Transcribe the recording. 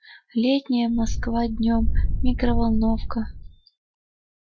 летняя москва днём микроволновка